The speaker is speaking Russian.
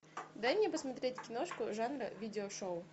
дай мне посмотреть киношку жанра видео шоу